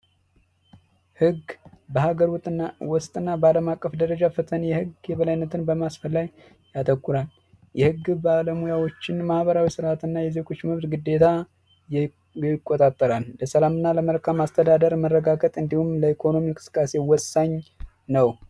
ህግ በአገሩትና ዋስትና ባለማቀፍ ደረጃ ፈተና የህግ የበላይነትን በማስፈን የግ ባለሙያዎችን ማህበራትና ግዴታ ይቆጣጠራል በሰላምና ለመልካም አስተዳደር መረጋጋት እንዲሁም ለኢኮኖሚ ወሳኝ ነው